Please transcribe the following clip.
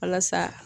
Walasa